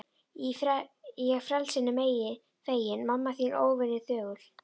Ég frelsinu feginn, mamma þín óvenju þögul.